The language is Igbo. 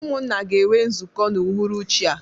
Umunna ga enwe nzuko n'uhuruchi a.